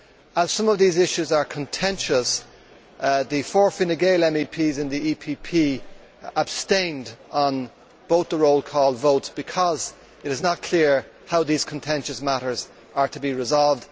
As some of these issues are contentious, the four Fine Gael MEPs in the EPP abstained on both the roll call votes because it is not clear how these contentious matters are to be resolved.